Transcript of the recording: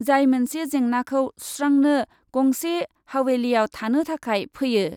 जाय मोनसे जेंनाखौ सुस्रांनो गंसे हावेलिआव थानो थाखाय फैयो ।